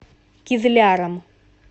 кизляром